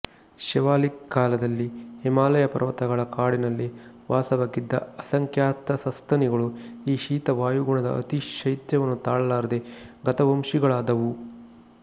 ಶಿವಾಲಿಕ್ ಕಾಲದಲ್ಲಿ ಹಿಮಾಲಯ ಪರ್ವತಗಳ ಕಾಡಿನಲ್ಲಿ ವಾಸವಾಗಿದ್ದ ಅಸಂಖ್ಯಾತ ಸಸ್ತನಿಗಳು ಈ ಶೀತ ವಾಯುಗುಣದ ಅತಿ ಶೈತ್ಯವನ್ನು ತಾಳಲಾರದೆ ಗತವಂಶಿಗಳಾದುವು